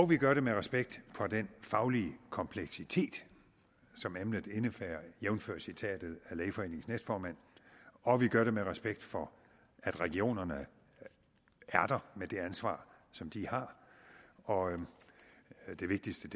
vi gør det med respekt for den faglige kompleksitet som emnet indebærer jævnfør citatet af lægeforeningens næstformand og vi gør det med respekt for at regionerne er der med det ansvar som de har og det vigtigste